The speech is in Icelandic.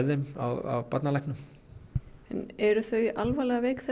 þeim af barnalæknum en eru þau alvarlega veik